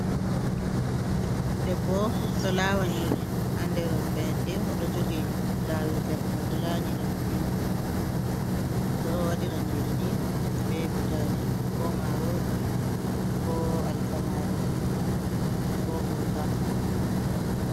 Debbo ɗo lawa nyiri haa nder fayende, oɗo jogi lawirgal mai oɗo lanyira ɗum be mai. Ɓeɗo waɗira nyiri ni be butali, ko marori, ko alkamari, ko gurka.